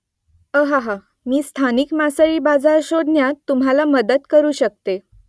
अहाहा ! मी स्थानिक मासळी बाजार शोधण्यात तुम्हाला मदत करू शकते